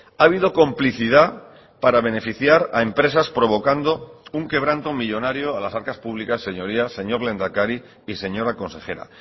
ha habido complicidad para beneficiar a empresas provocando un quebranto millónario a las arcas públicas señorías señor lehendakari y señora consejera